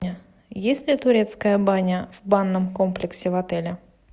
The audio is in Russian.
есть ли турецкая баня в банном комплексе в отеле